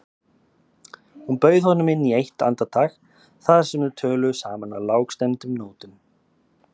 Hún bauð honum inn eitt andartak þar sem þau töluðu saman á lágstemmdum nótum.